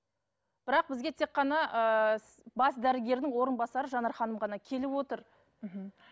бірақ бізге тек қана ыыы бас дәрігердің орынбасары жанар ханым ғана келіп отыр мхм